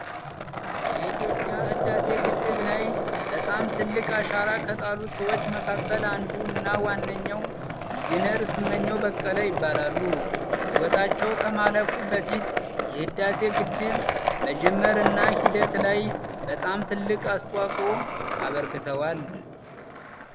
የኢትዮጵያ ህዳሴ ግድብ ላይ በጣም ትልቅ አሻራ ከጣሉ ሰዎች መካከል አንዱ እና ዋነኛው ኢንጂነር ስመኘው በቀለ ይባላሉ። ህይወታቸው ከማለፉ በፊት የህዳሴ ግድብ መጀመር እና ሂደት ላይ በጣም ትልቅ አስተዋጽኦ አበርክተዋል።